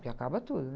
Porque acaba tudo, né?